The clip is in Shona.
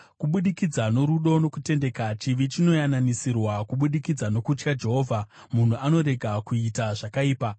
Kubudikidza norudo nokutendeka, chivi chinoyananisirwa, kubudikidza nokutya Jehovha munhu anorega kuita zvakaipa.